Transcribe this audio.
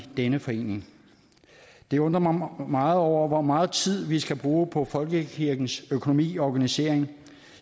denne forening jeg undrer mig meget over hvor meget tid vi skal bruge på folkekirkens økonomi og organisering